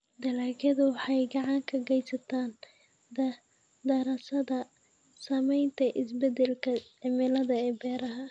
Dalagyadu waxay gacan ka geystaan ??daraasadda saamaynta isbeddelka cimilada ee beeraha.